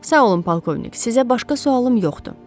Sağ olun polkovnik, sizə başqa sualım yoxdur.